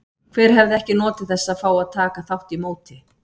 Hver hefði ekki notið þess að fá að taka þátt í móti?